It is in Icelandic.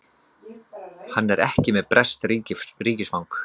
Hann er ekki með breskt ríkisfang